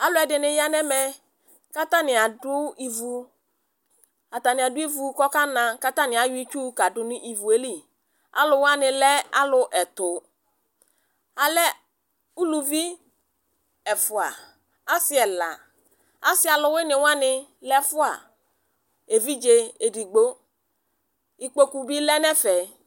Aluɛdini yanu ɛmɛ ku atani adu ivu ku ɔkana katani ayɔ itsu kadu nu ivu li aluwani lɛ alu ɛtu alɛ uluvi ɛfua asi ɛla asi aluwuini wani lɛ ɛfua evidze edigbo ikpoku di lɛ nɛfɛ